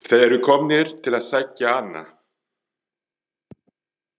Þeir eru komnir til að sækja hana.